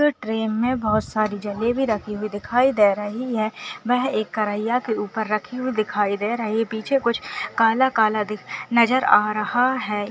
एक ट्रे में बहुत सारी जलेबी रखी हुई दिखाई दे रही है वैह एक करिहा के ऊपर रखी हुई दिखाई दे रही है पीछे कुछ काला- काला दिख नजर आ रहा हैं।